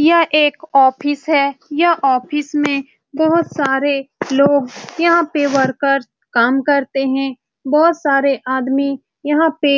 यह एक ऑफिस है यह ऑफिस में बहुत सारे लोग यहाँ पे वर्कर काम करते हैं बहुत सारे आदमी यहाँ पे